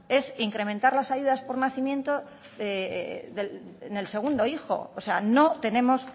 es incrementar las ayudas por nacimiento en el segundo hijo o sea no tenemos